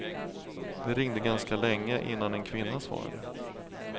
Det ringde ganska länge innan en kvinna svarade.